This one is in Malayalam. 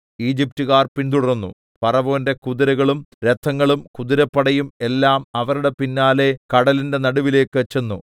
ഈജിപ്റ്റുകാർ പിന്തുടർന്നു ഫറവോന്റെ കുതിരകളും രഥങ്ങളും കുതിരപ്പടയും എല്ലാം അവരുടെ പിന്നാലെ കടലിന്റെ നടുവിലേക്ക് ചെന്നു